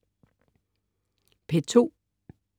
P2: